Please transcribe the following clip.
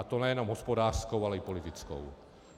A to nejenom hospodářskou, ale i politickou.